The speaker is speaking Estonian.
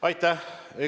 Aitäh!